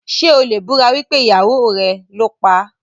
Ṣé o lè búra wípé ìyàwó rẹ̀ ló paá?